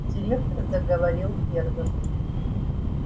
директор заговорил первым